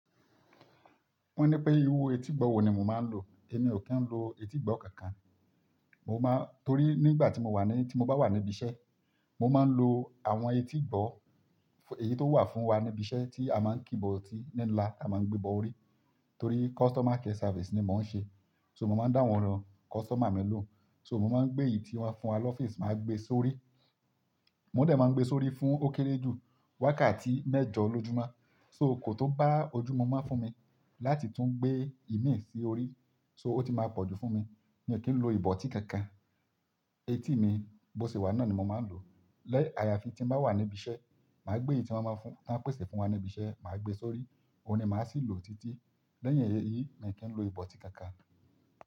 Wọ́n ní pé irú etígbọ̀ wò ni mò máa ń lò. Èmi ò kí ń lo etígbọ̀ kankan. Mo máa-- torí nígbà tí mo wà ní-- tí mo bá wà níbi iṣẹ́, mo máa ń lo àwọn etígbọ̀, èyí tó wà fún wa níbi iṣẹ́ tí a máa ń kíbọ̀ tí ní ńlá, a máa ń gbébọ orí. Torí customer care service ni mò ń ṣe. So mò máa ń dá wọn ran. Customer mi ló. So mò máa ń gbé èyí tí wọ́n fún wa lọ́fíísì, màá gbe sórí. Mò ún dẹ̀ máa ń gbé sórí fún ó kéré jù wákàtí mẹ́jọ lọ́júmọ́. So kò tó bá ojúmọ́ máa fún mi láti tún gbé ìmí sí orí. So ó ti máa pọ̀jù fún mi. Mi ò kí ń lo ìbọ̀tí kankan. Etí mi bó ṣe wà náà ni mò máa ń lò. Lẹ́ àyàfi tí mo bá wà níbi iṣẹ́, màá gbé èyí tí wọ́n máa fún-- wọ́n pèsè fún wa níbi iṣẹ́, màá gbe sórí. Óun ni màá sì ń lo títí. Lẹ́yìn èyí, mi ò kí ń lo ìbọ̀tí kankan.